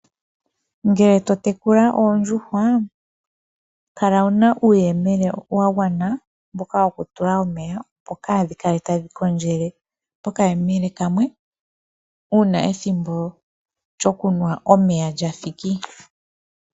Ngele to tekula oodjuhwa, kala wuna uuyemele wa gwana mboka woku tula omeya, opo kaadhi kale tadhi kondjele poka yemele kamwe, uuna ethimbo lyoku nwa omeya lyathiki.